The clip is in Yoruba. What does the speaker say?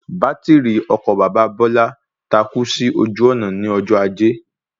Bátìrì ọkọ̀ bàbá Bọ́lá takú sí ojú ònà ní ọjọ́ ajé